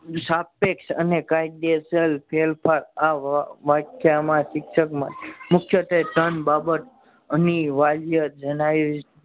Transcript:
સાપેક્ષ અને કાયદેસર ફેરફાર આવવા વ્યાખ્યા માં શિક્ષક માં મુખ્ય બે ત્રણ બાબત અનિવાર્ય જણાવી